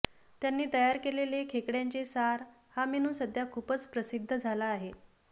त्यांनी तयार केलेले खेकडय़ाचे सार हा मेनू सध्या खूपच प्रसिद्ध झाला आहे